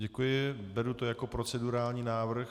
Děkuji, beru to jako procedurální návrh .